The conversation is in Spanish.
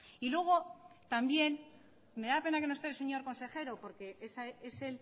y luego también me da pena que no esté el señor consejero porque es